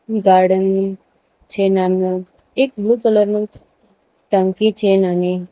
garden નું છે નાનું એક બ્લુ કલર નું ટંકી છે નાની --